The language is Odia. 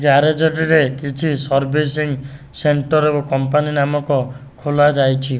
ଜାରଜ ଟିରେ କିଛି ସର୍ବିସିଙ୍ଗ ସେଣ୍ଟର ଏକ କମ୍ପାନୀ ନାମକ ଖୋଲା ଯାଇଚି।